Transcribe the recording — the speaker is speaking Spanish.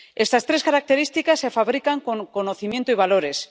Estas tres características se fabrican con conocimiento y valores.